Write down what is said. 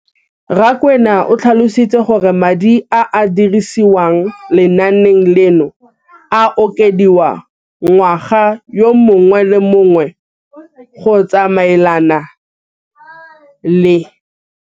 Rakwena o tlhalositse gore madi a a dirisediwang lenaane leno a okediwa ngwaga yo mongwe le yo mongwe go tsamaelana le.